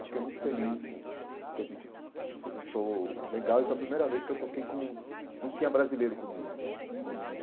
Eu fiquei muito feliz que a gente fez um show legal e foi a primeira vez que eu toquei com... não tinha brasileiro comigo com.